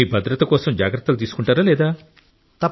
కానీ మీ భద్రత కోసం జాగ్రత్తలు తీసుకుంటారా లేదా